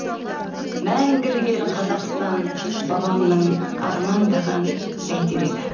мәңгілік ел қазақстан бабамның армандаған бәйтерегі